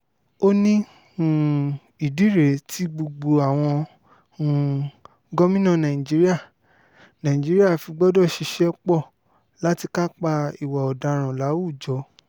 ó ní um ìdí rèé tí gbogbo àwọn um gómìnà nàìjíríà nàìjíríà fi gbọdọ̀ ṣiṣẹ́ pọ̀ láti kápá ìwà ọ̀daràn láwùjọ